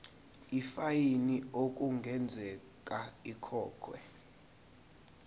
ifayini okungenzeka ikhokhwe